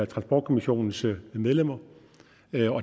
transportkommissionens medlemmer